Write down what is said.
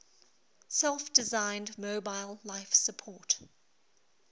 self designed mobile life support